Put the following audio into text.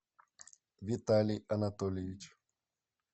виталий анатольевич